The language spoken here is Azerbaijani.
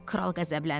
Kral qəzəbləndi.